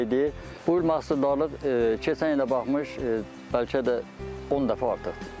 Buyurmaq istədiyim odur ki, keçən il də baxmış, bəlkə də 10 dəfə artıqdır.